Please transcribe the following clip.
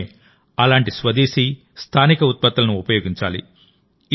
మనమే అలాంటి స్వదేశీ స్థానిక ఉత్పత్తులను ఉపయోగించాలి